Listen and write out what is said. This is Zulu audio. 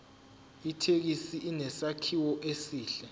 ithekisi inesakhiwo esihle